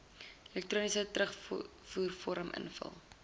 elektroniese terugvoervorm invul